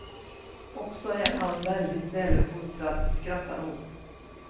Och så är han väldigt väluppfostrad, skrattar hon.